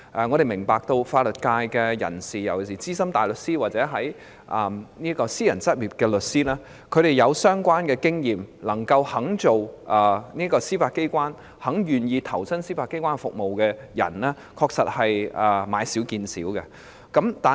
我們明白法律界的人事，尤其是資深大律師或私人執業律師，具相關經驗而能夠擔任司法機構的職位、願意投身司法機構並提供服務的人，確實是買少見少。